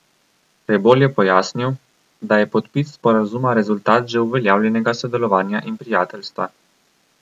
Rebolj je pojasnil, da je podpis sporazuma rezultat že uveljavljenega sodelovanja in prijateljstva.